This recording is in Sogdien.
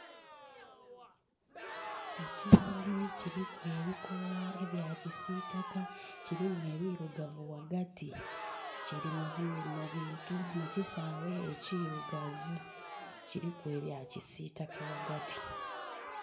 Ekimuli kiliku ebikoola ebya kisiitaka, kilimu ebirugavu ghaghati. Kili mu bintu, mu kisaawe ekiirugavu, kiliku ebya kisiitaka ghaghati.